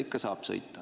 Ikka saab sõita.